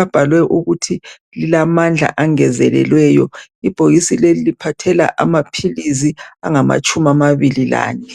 abhalwe ukuthi lilamandla angezelelweyo. Lelibhokisi liphathela amaphilisi, angamatshumi amane, lane